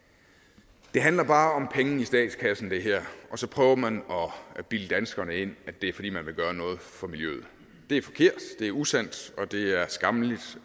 det her handler bare om penge i statskassen og så prøver man at bilde danskerne ind at det er fordi man vil gøre noget for miljøet det er forkert det er usandt og det er skammeligt